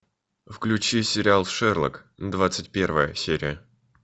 включи сериал шерлок двадцать первая серия